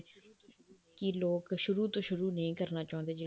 ਕੀ ਲੋਕ ਸ਼ੁਰੂ ਤੋਂ ਸ਼ੁਰੂ ਨਹੀਂ ਕਰਨਾ ਚਾਹੁੰਦੇ